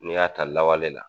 N'i y'a ta lawale la